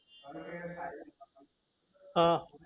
હા